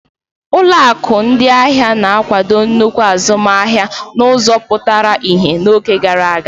Ụlọ akụ ndị ahịa na-akwado nnukwu azụmahịa n'ụzọ pụtara ihe n'oge gara aga.